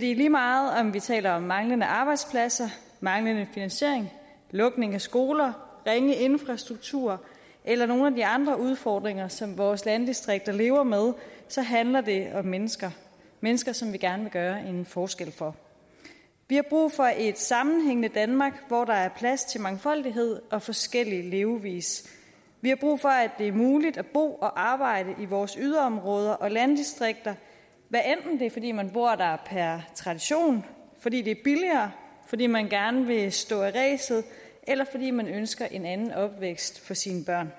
lige meget om vi taler om manglende arbejdspladser manglende finansiering lukning af skoler ringe infrastruktur eller nogle af de andre udfordringer som vores landdistrikter lever med så handler det om mennesker mennesker som vi gerne vil gøre en forskel for vi har brug for et sammenhængende danmark hvor der er plads til mangfoldighed og forskellig levevis vi har brug for at det er muligt at bo og arbejde i vores yderområder og landdistrikter hvad enten det er fordi man bor der per tradition fordi det er billigere fordi man gerne vil stå af ræset eller fordi man ønsker en anden opvækst for sine børn